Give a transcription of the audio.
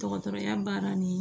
Dɔgɔtɔrɔya baara nin